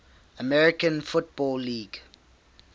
american football league